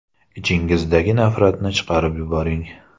Ichingizdagi nafratni chiqarib yuboring.